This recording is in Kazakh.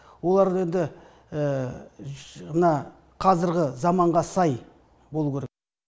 олар да енді мына қазіргі заманға сай болуы керек